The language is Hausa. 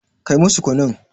Kai musu kunun.